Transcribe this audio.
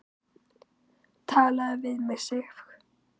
TALAÐU VIÐ MIG, SIF!